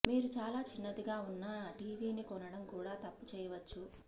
మీరు చాలా చిన్నదిగా ఉన్న టివిని కొనడం కూడా తప్పు చేయవచ్చు